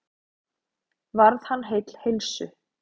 Varð hann heill heilsu.